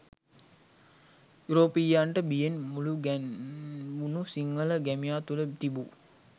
යුරෝපීයයන්ට බියෙන් මුළුගැන්වුණු සිංහල ගැමියා තුළ තිබූ